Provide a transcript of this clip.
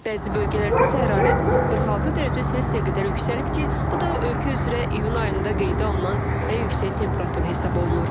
Bəzi bölgələrdə isə hərarət 46 dərəcə Selsiyə qədər yüksəlib ki, bu da ölkə üzrə iyun ayında qeydə alınan ən yüksək temperatur hesab olunur.